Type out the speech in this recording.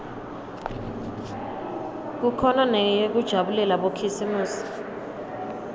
kukhona neyekujabulela bokhisimusi